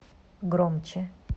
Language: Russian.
громче